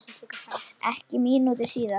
Ekki mínútu síðar